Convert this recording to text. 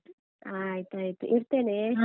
ಆಯ್ತಾಯ್ತು ಇಡ್ತೇನೆ.